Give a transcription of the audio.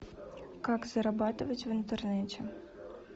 как зарабатывать в интернете